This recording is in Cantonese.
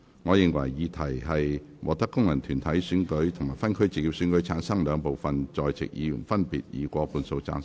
我認為議題獲得經由功能團體選舉產生及分區直接選舉產生的兩部分在席議員，分別以過半數贊成。